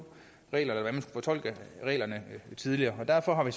reglerne og har fortolket reglerne tidligere derfor har vi